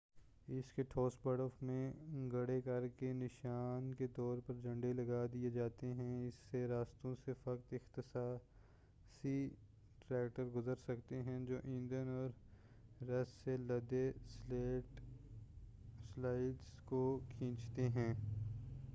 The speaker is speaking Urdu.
اس کے ٹھوس برف میں گڈھے کرکے نشا ن کے طور پر جھنڈے لگا دئے جاتے ہیں اس کے راستوں سے فقط اختصاصی ٹریکٹر گزر سکتے ہیں جو ایندھن اور رسد سے لدے سلیڈ س کو کھینچتے ہیں